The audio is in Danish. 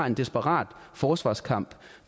en desperat forsvarskamp